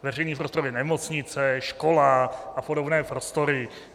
Veřejný prostor je nemocnice, škola a podobné prostory.